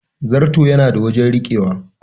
Zarto yana da wajen rikewa.